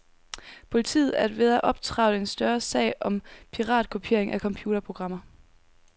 Politiet er ved at optrevle en større sag om piratkopiering af computerprogrammer.